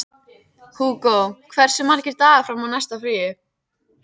Hugo, hversu margir dagar fram að næsta fríi?